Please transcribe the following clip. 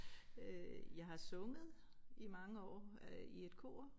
Øh jeg har sunget i mange år øh i et kor